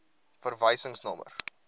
verwysingsnommer